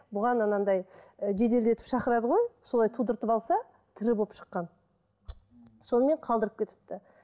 бұған анандай ы жеделдетіп шақырады ғой солай тудыртып алса тірі болып шыққан сонымен қалдырып кетіпті